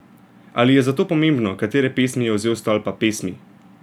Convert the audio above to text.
Ali je zato pomembno, katere pesmi je vzel iz Stolpa pesmi?